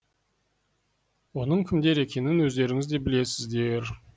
оның кімдер екенін өздеріңіз де білесіздер